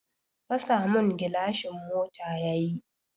Fasa mun gilashin mota yayi